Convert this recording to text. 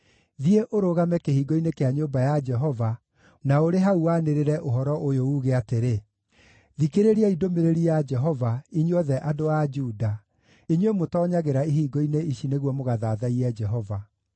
“Thiĩ ũrũgame kĩhingo-inĩ kĩa nyũmba ya Jehova na ũrĩ hau wanĩrĩre ũhoro ũyũ, uuge atĩrĩ: “ ‘Thikĩrĩriai ndũmĩrĩri ya Jehova, inyuothe andũ a Juda, inyuĩ mũtoonyagĩra ihingo-inĩ ici nĩguo mũgathathaiye Jehova.